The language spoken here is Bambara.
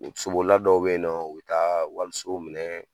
U sobolila dɔw be yen nɔn, u bi taa walisow minɛ